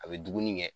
A bɛ dumuni kɛ